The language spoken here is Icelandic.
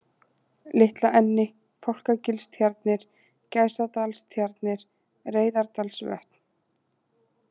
Litlaenni, Fálkagilstjarnir, Gæsadalstjarnir, Reyðardalsvötn